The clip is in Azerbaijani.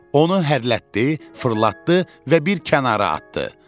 Onu hərlətdi, fırlatdı və bir kənara atdı.